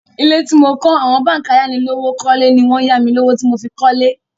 Ilé tí mo kọ́ àwọn báǹkì ayánilówókọ́lé ni wọ́n ya mi lówó tí mo fi kọ́lé.